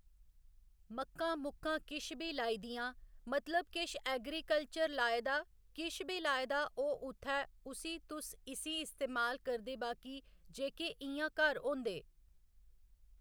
मक्कां मुक्कां किश बी लाई दियां मतलब किश ऐगरीकल्चर लाए दा किश बी लाए दा ओह् उत्थै उसी तुस इसी इस्तेमाल करदे बाकी जेह्‌के इ'यां घर होंदे